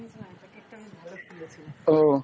ও।